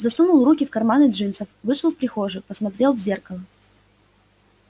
засунул руки в карманы джинсов вышел в прихожую посмотрел в зеркало